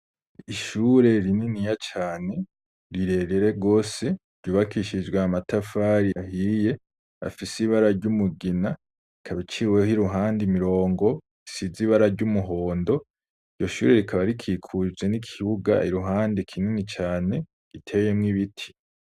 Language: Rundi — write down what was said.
Ishure rininiya cane, rirerere gose, ryubakishijwe amatafari ahiye, afis' ibara ry'umugina ikabiciweh' iruhande imirongo isiz 'ibara ry'umuhondo iyo shure rikaba rikikuje n'ikibuga iruhande kinini cane giteye mw ibiti